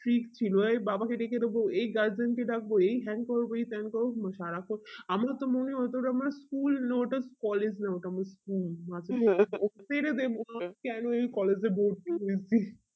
freak ছিল এই বাবা কে ডেকে দেব এই guardian কে ডাকবো এই হ্যান করবো এই ত্যান করবো আমার তো মনে হতো যে আমার school নো ওটা collage না ওটা আমার school ছেড়েদে মা কেন এই collage এ ভর্তি হয়েছি